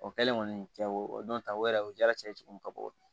O kɛlen kɔni cɛ o don ta o yɛrɛ o jara cɛ ye cogo min ka bɔ